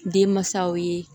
Den mansaw ye